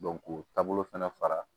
k'o taabolo fana fara